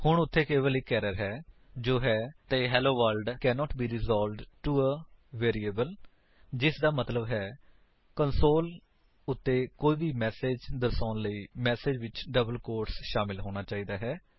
ਹੁਣ ਉੱਥੇ ਕੇਵਲ ਇੱਕ ਏਰਰ ਹੈ ਜੋ ਹੈ hello world cannot be resolved to a variable ਜਿਸਦਾ ਮਤਲੱਬ ਹੈ ਕਿ ਕੰਸੋਲ ਉੱਤੇ ਕੋਈ ਵੀ ਮੈਸੇਜ ਦਰਸਾਉਣ ਲਈ ਮੈਸੇਜ ਵਿੱਚ ਡਬਲ ਕੋਟਸ ਸ਼ਾਮਿਲ ਹੋਣਾ ਚਾਹੀਦਾ ਹੈ